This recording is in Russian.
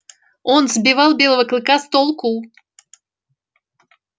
он сбивал белого клыка с толку